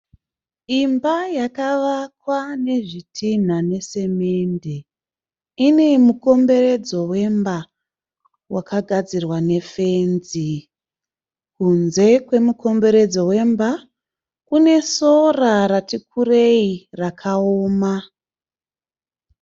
Imba yakavakwa nezvitinha nesemende. Ine mukomberedzo wemba wakagadzirwa nefenzi. Kunze kwemukomberedzo wemba kune sora ratikurei rakaoma.